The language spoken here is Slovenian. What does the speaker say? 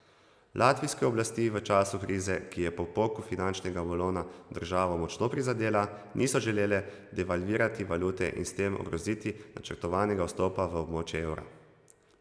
Latvijske oblasti v času krize, ki je po poku finančnega balona državo močno prizadela, niso želele devalvirati valute in s tem ogroziti načrtovanega vstopa v območje evra.